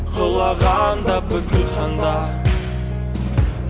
құлағанда бүкіл хандар